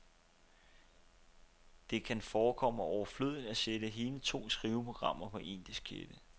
Det kan forekomme overflødigt at sætte hele to skriveprogrammer på en diskette.